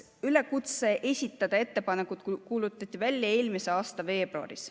Üleskutse esitada ettepanekud kuulutati välja eelmise aasta veebruaris.